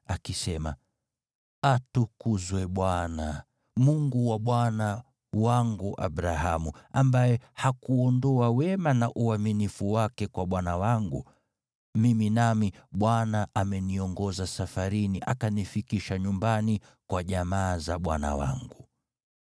akisema, “Atukuzwe Bwana , Mungu wa bwana wangu Abrahamu, ambaye hakuondoa wema na uaminifu wake kwa bwana wangu. Mimi nami, Bwana ameniongoza safarini akanifikisha nyumbani kwa jamaa za bwana wangu.”